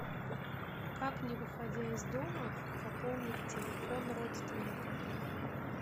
как не выходя из дома пополнить телефон родственника